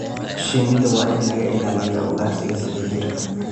Shinnida waa in laga ilaaliyaa ugaarsiga sida jiirka.